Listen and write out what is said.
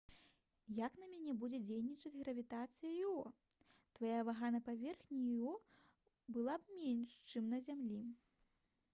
як на мяне будзе дзейнічаць гравітацыя іо твая вага на паверхні іо была б менш чым на зямлі